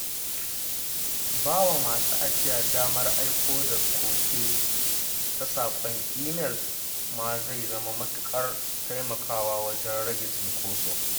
Ba wa masu ajiya damar aiko da koke ta saƙon imel ma zai matuƙar taimakawa wajen rage cinkoso